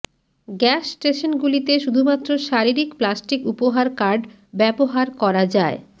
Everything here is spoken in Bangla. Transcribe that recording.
গ্যাস স্টেশনগুলিতে শুধুমাত্র শারীরিক প্লাস্টিক উপহার কার্ড ব্যবহার করা যায়